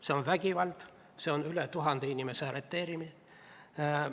See on vägivald, see on üle tuhande inimese arreteerimine.